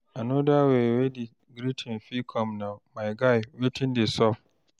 anoda way wey di greeting fit com na "my guy, wetin dey sup?"